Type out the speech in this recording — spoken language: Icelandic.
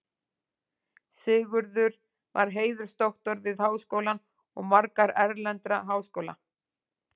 Sigurður var heiðursdoktor við Háskólann og marga erlenda háskóla.